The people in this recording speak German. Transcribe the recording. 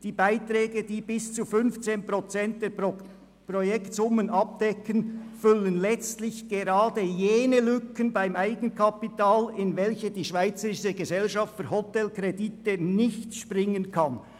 Die Beiträge, die bis zu 15 Prozent der Projektsummen abdecken, füllen letztlich gerade jene Lücken beim Eigenkapital, in welche die Schweizerische Gesellschaft für Hotelkredite nicht springen kann.